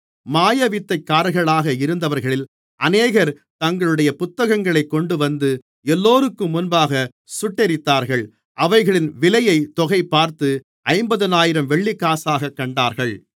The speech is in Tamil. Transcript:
மாயவித்தைக்காரர்களாக இருந்தவர்களில் அநேகர் தங்களுடைய புத்தகங்களைக் கொண்டுவந்து எல்லோருக்கும் முன்பாகச் சுட்டெரித்தார்கள் அவைகளின் விலையைத் தொகைபார்த்து ஐம்பதினாயிரம் வெள்ளிக்காசாகக் கண்டார்கள்